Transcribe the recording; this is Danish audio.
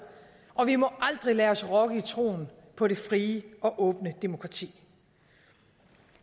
og vi må aldrig lade os rokke i troen på det frie og åbne demokrati